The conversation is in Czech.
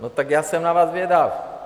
No tak já jsem na vás zvědav.